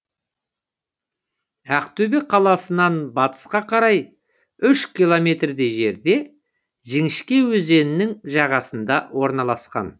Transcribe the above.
ақтөбе қаласынан батысқа қарай үш километрдей жерде жіңішке өзенінің жағасында орналасқан